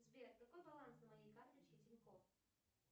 сбер какой баланс на моей карточке тинькофф